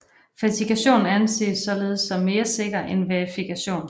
Fasifikation anses således som mere sikker end verifikation